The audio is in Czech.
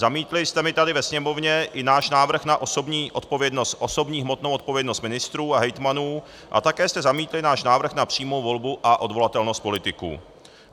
Zamítli jste mi tady ve Sněmovně i náš návrh na osobní hmotnou odpovědnost ministrů a hejtmanů a také jste zamítli náš návrh na přímou volbu a odvolatelnost politiků.